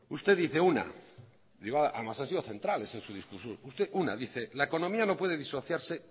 usted dice y además ha sido central en su discurso que la economía no puede disociarse